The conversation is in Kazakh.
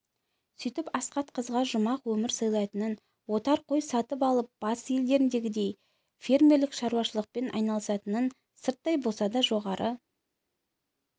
сөйтіп асхат қызға жұмақ өмір сыйлайтынын отар қой сатып алып батыс елдеріндегідей фермерлік шаруашылықпен айналысатынын сырттай болса да жоғары